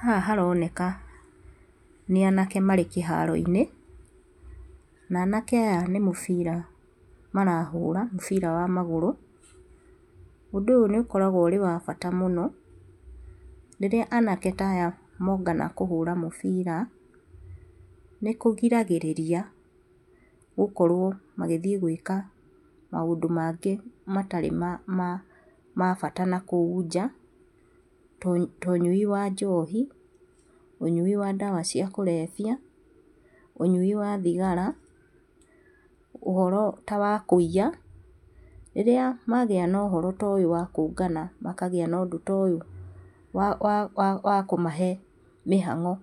Haha haroneka nĩ anake marĩ kĩharo-inĩ na anake aya nĩ mũbira marahũra, mũbira wa magũrũ. Ũndũ ũyũ nĩ ũkoragwo wĩ wa bata mũno rĩrĩa anake ta aya mongana kũhũra mũbira. Nĩkũrigagĩrĩria gũkorwo magĩthiĩ gwĩka maũndũ mangĩ matarĩ ma bata na kũu nja to ũnyui wa njohi, ũnyui wa ndawa cia kũrebia, ũnyui wa thigara, ũhoro ta wa kũiya. Rĩrĩa magĩa na ũhoro ta ũyũ wa kũngana makagĩa na ũndũ ta ũyũ wa kũmahe mĩhang'o